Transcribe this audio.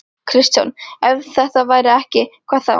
Kristján: Ef þetta væri ekki, hvað þá?